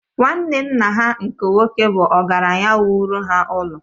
Nwanne nna ha nke nwoke bụ ọgaranya wuru ha ụlọ